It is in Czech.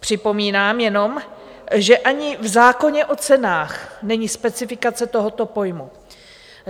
Připomínám jenom, že ani v zákoně o cenách není specifikace tohoto pojmu.